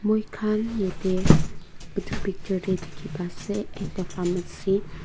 moi khan yate etu picture te dekhi paa ase ekta pharmacy .